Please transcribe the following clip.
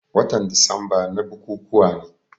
Watan disamba na bukukuwa ne.